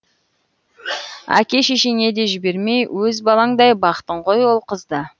әке шешеңе де жібермей өз балаңдай бақтың ғой ол қызды